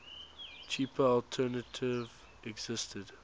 cheaper alternative existed